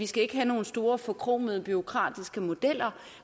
skal have nogle store forkromede bureaukratiske modeller